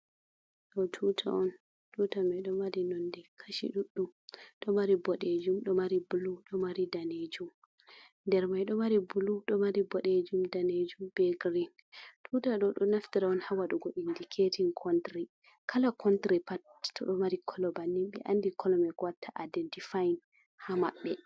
Ɗo tuta on, tuta mai do mari nondi kashi ɗuɗɗum ɗo mari boɗejum, ɗo mari bulu, ɗo mari danejum, nder mai ɗo mari bulu, ɗo mari boɗejum, danejum be green. Tuta ɗo ɗo naftira on ha wadugo indiketin contry, kala contry pat to ɗo mari kolo bannin be andi kolo me ko watta identifyin ha maɓɓe.